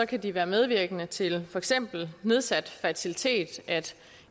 kan de være medvirkende til for eksempel nedsat fertilitet at